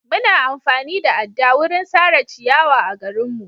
Muna amfani da adda wurin sare ciyawa a garinmu.